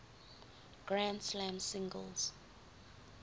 grand slam singles